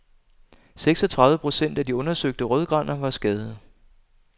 Seksogtredive procent af de undersøgte rødgraner var skadede.